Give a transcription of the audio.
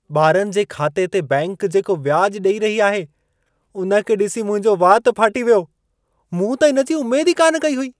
ॿारनि जे खाते ते बैंक जेको व्याज ॾेई रही आहे, उन खे ॾिसी मुंहिंजो वात फाटी पियो। मूं त इन जी उमेद ई कान कई हुई।